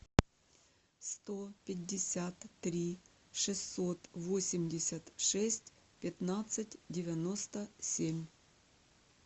сто пятьдесят три шестьсот восемьдесят шесть пятнадцать девяносто семь